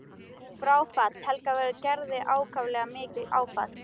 Fráfall Helga verður Gerði ákaflega mikið áfall.